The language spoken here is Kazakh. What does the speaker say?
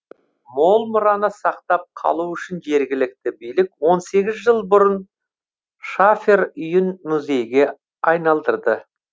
мол мұраны сақтап қалу үшін жергілікті билік он сегіз жыл бұрын шафер үйін музейге айналдырды